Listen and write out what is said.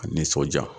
A nisɔnja